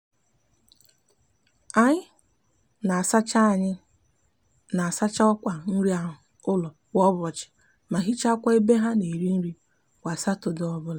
anyi n'asacha anyi n'asacha okwa nri anu ulo kwa ubochi ma hichakwa ebe ha n'eri nri kwa satode obula